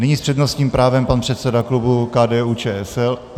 Nyní s přednostním právem pan předseda klubu KDU-ČSL.